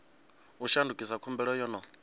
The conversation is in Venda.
u shandukisa khumbelo yo no